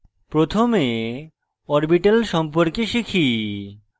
প্রথমে orbitals সম্পর্কে শিখি